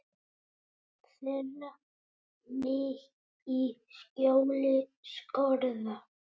þeirra mig í skjóli skorða